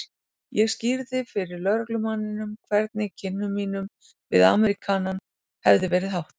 Ég skýrði fyrir lögreglumanninum hvernig kynnum mínum við Ameríkanann hefði verið háttað.